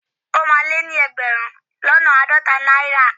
O máa lé ní ẹgbẹ̀rún lọ́nà àádọ́ta náírà.